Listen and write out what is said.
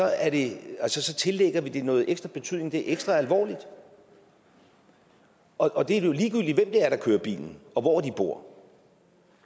at vi tillægger det noget ekstra betydning det er ekstra alvorligt og det er jo ligegyldigt hvem det er der kører bilen og hvor de bor